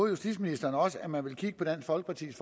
justitsministeren også at man ville kigge på dansk folkepartis